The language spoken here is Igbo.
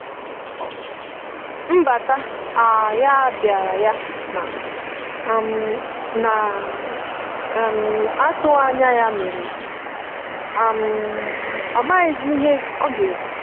nbata um ya biara ya na um na um atughi anya ya mere um ọ maghi zi ihe ọga ekwụ.